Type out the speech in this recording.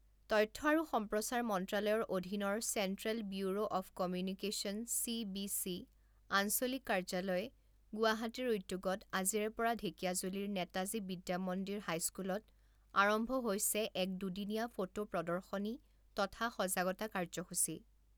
তথ্য আৰু সম্প্ৰচাৰ মন্ত্ৰালয়ৰ অধীনৰ central bureau of communication CBC, আঞ্চলিক কাৰ্যালয়, গুৱাহাটীৰ উদ্যোগত আজিৰে পৰা ঢেকীয়াজুলিৰ নেতাজী বিদ্যামন্দিৰ হাইস্কুলত আৰম্ভ হৈছে এক দুদিনীয়া ফটো প্ৰদৰ্শনী তথা সজাগতা কাৰ্যসূচী।